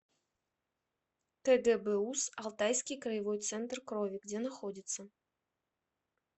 кгбуз алтайский краевой центр крови где находится